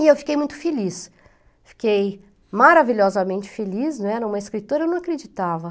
E eu fiquei muito feliz, fiquei maravilhosamente feliz, né, escritora não acreditava.